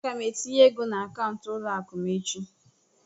Aga m etinye ego n'akaụntụ ụlọ akụ m echi.